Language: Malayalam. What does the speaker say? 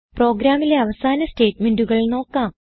പ്രോഗ്രാമിലെ അവസാന സ്റ്റേറ്റ്മെന്റുകൾ നോക്കാം